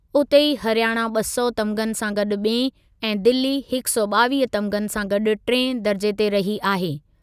उते ई हरियाणा ॿ सौ तमिग़नि सां गॾु ॿिएं ऐं दिल्ली हिकु सौ ॿावीह तमिग़नि सां गॾु टिएं दरिजे ते रही आहे।